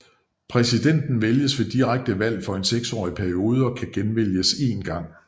Præsidenten vælges ved direkte valg for en seksårs periode og kan genvælges én gang